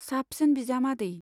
साबसिन बिजामादै